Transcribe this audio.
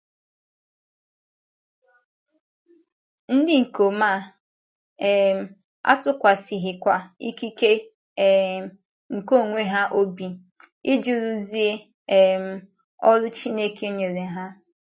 Ndị ikom a um atụkwasịghịkwa ikike um nke onwe ha obi, iji rụzuo um ọrụ Chineke nyere ha.